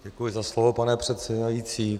Děkuji za slovo, pane předsedající.